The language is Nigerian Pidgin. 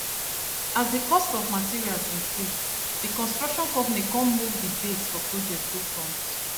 as the cost of materials increase the construction company kon move the date for project go front